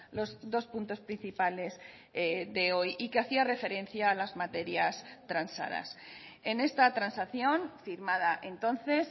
los dos puntos principales de hoy y que hacía referencia a las materias transadas en esta transacción firmada entonces